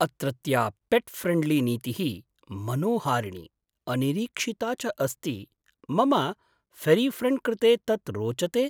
अत्रत्या पेट् फ्रेण्ड्लीनीतिः मनोहारिणी, अनिरीक्षिता च अस्ति मम फेरिफ्रेण्ड् कृते तत् रोचते!